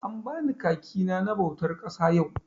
An bani kaki na na bautar ƙasa yau.